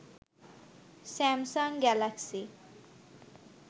Samsung Galaxy